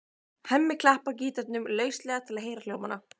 Hemmi klappar gítarnum lauslega til að heyra hljómana.